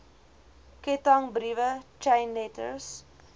kettingbriewe chain letters